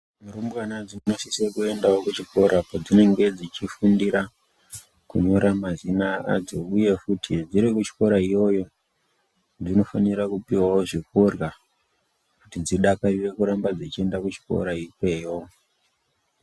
Rumbwana dzinosisa kuendawo kuchikora kwadzinenge dzichifundira kunyora mazina adzo uye futi dziri kuchikora iyoyo dzinofanirawo kupuwa zvekurya kuti dzidakarire kuenda kuchikora ikweyo.